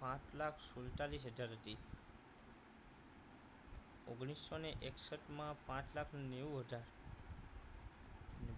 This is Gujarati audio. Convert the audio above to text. પાંચ લાખ સુડતાલીસ હજાર હતી ઓગણીસો ને એકસઠ માં પાંચ લાખ નેવું હજાર